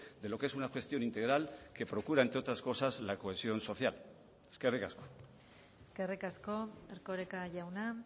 de lo que es una gestión integral que procura entre otras cosas la cohesión social eskerrik asko eskerrik asko erkoreka jauna